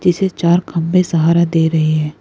इसे चार खंबे सहारा दे रहे हैं।